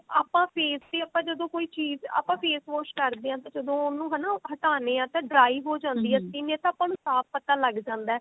ਆਪਾਂ face ਤੇ ਆਪਾਂ ਜਦੋਂ ਕੋਈ ਚੀਜ ਆਪਾਂ face wash ਕਰਦੇ ਹਾਂ ਤਾਂ ਉਹਨੂੰ ਜਦੋਂ ਹਟਾਉਣੇ ਹਾਂ ਤਾਂ dry ਹੋ ਜਾਂਦੀ ਆ skin ਇਹ ਤਾਂ ਆਪਾਂ ਨੂੰ ਸਾਫ਼ ਪਤਾ ਲੱਗ ਜਾਂਦਾ